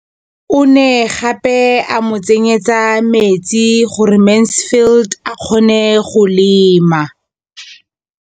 O ne gape a mo tsenyetsa metsi gore Mansfield a kgone go lema.